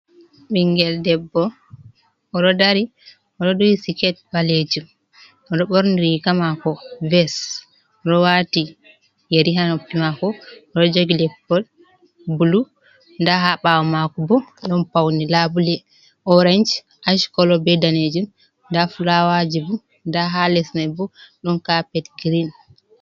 Ɓingel debbo oɗo dari oɗo duhi siket ɓalejum, oɗo ɓorni riga mako ves, oɗo wati yeri ha noppi mako, oɗo jogi leppol bulu. Nda ha ɓawo mako bo, ɗon paune labule orange, ash kolo be danejum, nda fulawaji bo, nda ha les mai bo ɗon kapet girin.